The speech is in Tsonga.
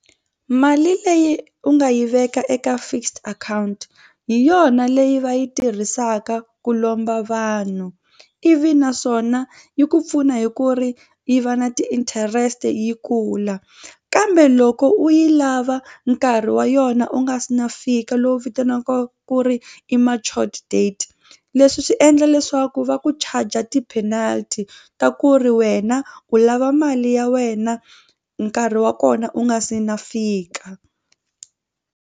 Mali leyi u nga yi veka eka fixed account hi yona leyi va yi tirhisaka ku lomba vanhu ivi naswona yi ku pfuna hi ku ri yi va na ti-interest yi kula kambe loko u yi lava nkarhi wa yona u nga se na fika lowu vitanaka ku ri i matured date leswi swi endla leswaku va ku charger ti-penalty ta ku ri wena u lava mali ya wena nkarhi wa kona u nga se na fika.